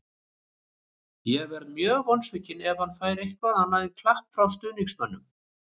Ég verð mjög vonsvikinn ef hann fær eitthvað annað en klapp frá stuðningsmönnum.